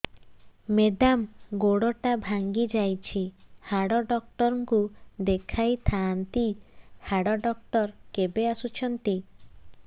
madam ଗୋଡ ଟା ଭାଙ୍ଗି ଯାଇଛି ହାଡ ଡକ୍ଟର ଙ୍କୁ ଦେଖାଇ ଥାଆନ୍ତି ହାଡ ଡକ୍ଟର କେବେ ଆସୁଛନ୍ତି